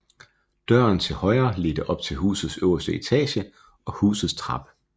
Døren til højre ledte op til husets øverste etage og husets trappe